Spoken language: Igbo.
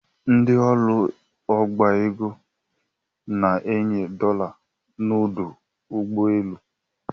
Ndị ụlọ ọbaego na-enye dola n’udu ugboelu